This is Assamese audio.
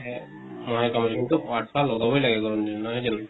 হে । মহে কামুৰে কিন্তু আঠোৱা লগাবৈ লাগে গৰম দিনত, নহয় জানো ?